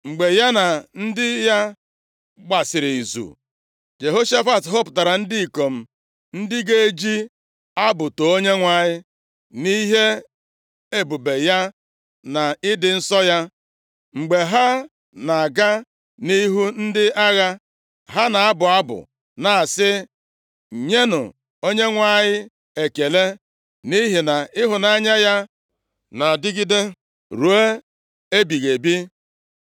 Mgbe ya na ndị ya gbasịrị izu, Jehoshafat họpụtara ndị ikom ndị ga-eji abụ too Onyenwe anyị nʼihi ebube ya na ịdị nsọ ya. Mgbe ha na-aga nʼihu ndị agha, ha na-abụ abụ na-asị: “Nyenụ Onyenwe anyị ekele, nʼihi na ịhụnanya ya na-adịgide ruo ebighị ebi.”